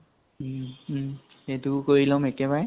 উম উম, সেইটোও কৰি লম একেবাৰে।